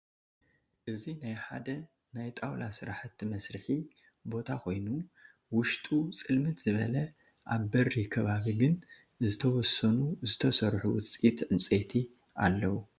እዚ ናይ ሓደ ናይ ጣውላ ስራሕቲ መስርሒ ቦታ ኮይኑ ውሽጡ ፅልምት ዝበለ አብ በሪ ከባቢ ግን ዝተወሰኑ ዝተሰርሑ ውፅኢት ዕንፀይቲ አለዉ፡፡